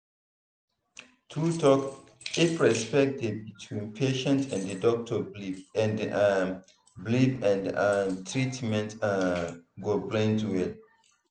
true talk if respect dey between patient and doctor belief and um belief and um treatment um go blend well.